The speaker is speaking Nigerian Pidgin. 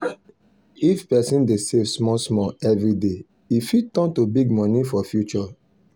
if person dey save small small every day e fit turn to big money for future.